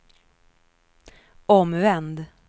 omvänd